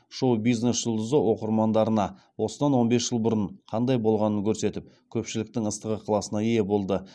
шоу бизнес жұлдызы оқырмандарына осыдан он бес жыл бұрын қандай болғанын көрсетіп көпшіліктің ыстық ықыласына ие болды